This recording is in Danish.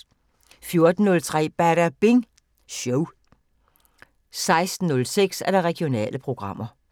14:03: Badabing Show 16:06: Regionale programmer